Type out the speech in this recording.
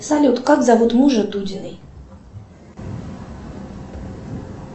салют как зовут мужа дудиной